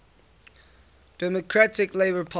democratic labour party